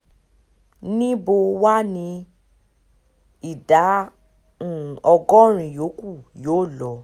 níbo wàá ní ìdá um ọgọ́rin yòókù yóò lọ